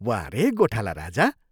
वाह रे गोठाला राजा!